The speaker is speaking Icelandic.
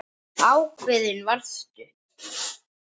Ákveðin varstu.